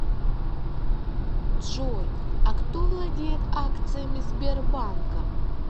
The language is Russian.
джой а кто владеет акциями сбербанка